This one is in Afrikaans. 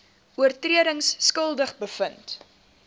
oortredings skuldig bevind